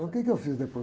O quê que eu fiz depois?